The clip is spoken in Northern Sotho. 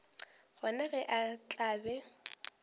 gona ge a tla be